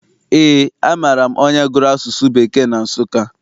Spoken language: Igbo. Eé, amaara m onye gụrụ asụsụ Bekee na Nsụka.